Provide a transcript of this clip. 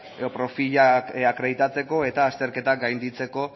edo profilak akreditatzeko eta azterketak gainditzeko